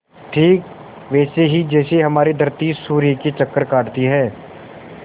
ठीक वैसे ही जैसे हमारी धरती सूर्य के चक्कर काटती है